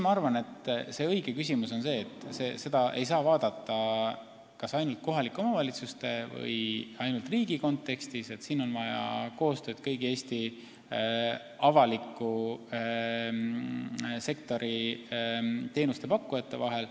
Ma arvan, et õige küsimusepüstitus on see, et seda ei saa vaadata kas ainult kohalike omavalitsuste või ainult riigi kontekstis – siin on vaja koostööd kõigi Eesti avaliku sektori teenuste pakkujate vahel.